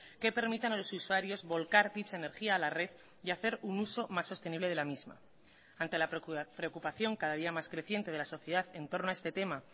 que permitan a los usuarios volcar dicha energía a la red y hacer un uso más sostenible de la misma ante la preocupación cada día más creciente de la sociedad en torno a este tema